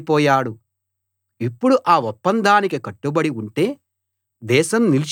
ఇప్పుడు ఆ ఒప్పందానికి కట్టుబడి ఉంటే దేశం నిలిచి ఉంటుంది